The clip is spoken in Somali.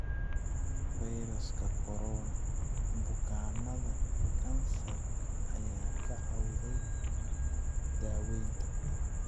Fayraska Corona: Bukaannada kansarka ayaa ka cawda daawaynta